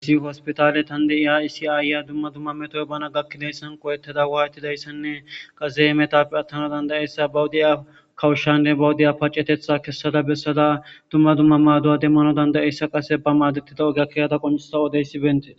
isi hospitale tandei ha isi aayya dumma dumma metoy bana gakkidayssan qowetteda waayetidayssanne qaze metape attano dandayeyssa bawudiya kawushshanne bawudiya pacetetha kessada bessada dumma dumma maaduwa demmano dandayeyssa qase ba maadetida ogia kiyada qonsa odeyssi bente